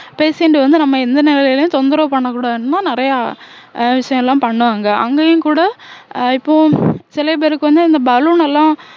patient வந்து நம்ம எந்த நிலையிலும் தொந்தரவு பண்ணக்கூடாதுன்னுதான் நிறையா அஹ் விஷயம் எல்லாம் பண்ணுவாங்க அங்கேயும் கூட அஹ் இப்போ சில பேருக்கு வந்து இந்த balloon எல்லாம்